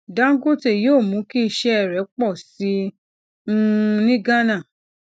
dangote yóò mú kí iṣẹ rẹ pọ sí i um ní gánà